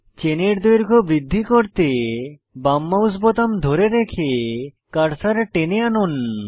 চেনের দৈর্ঘ্য বৃদ্ধি করতে বাম মাউস বোতাম ধরে রেখে কার্সার টেনে আনুন